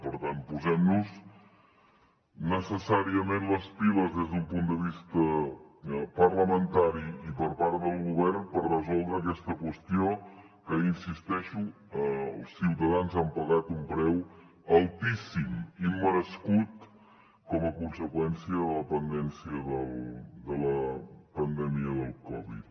per tant posem nos necessàriament les piles des d’un punt de vista parlamentari i per part del govern per resoldre aquesta qüestió que hi insisteixo els ciutadans han pagat un preu altíssim immerescut com a conseqüència de la pandèmia del covid